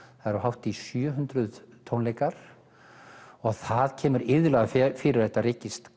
það eru hátt í sjö hundruð tónleikar og það kemur iðulega fyrir að þetta rekist